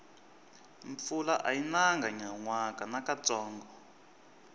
mpfula ayi nanga nyanwaka nakantsongo